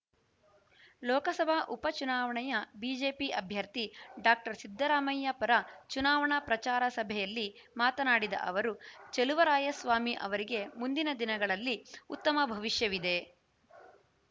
ಲೋಕಸಭಾ ಉಪ ಚುನಾವಣೆಯ ಬಿಜೆಪಿ ಅಭ್ಯರ್ಥಿ ಡಾಕ್ಟರ್ ಸಿದ್ದರಾಮಯ್ಯ ಪರ ಚುನಾವಣಾ ಪ್ರಚಾರ ಸಭೆಯಲ್ಲಿ ಮಾತನಾಡಿದ ಅವರು ಚಲುವರಾಯಸ್ವಾಮಿ ಅವರಿಗೆ ಮುಂದಿನ ದಿನಗಳಲ್ಲಿ ಉತ್ತಮ ಭವಿಷ್ಯವಿದೆ